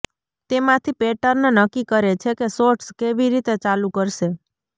તેમાંથી પેટર્ન નક્કી કરે છે કે શોર્ટ્સ કેવી રીતે ચાલુ કરશે